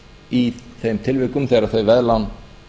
í þeim tilvikum þegar þau veðlán